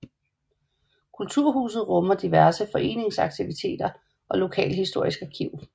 Kulturhuset rummer diverse foreningsaktiviteter og lokalhistorisk arkiv